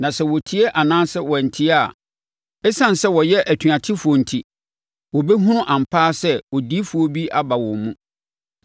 Na sɛ wɔtie anaa wɔantie a, ɛsiane sɛ wɔyɛ atuatefoɔ enti, wɔbɛhunu ampa ara sɛ odiyifoɔ bi aba wɔn mu.